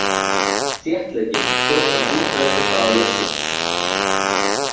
Þéttleikinn stjórnar útbreiðsluhraða ljóssins.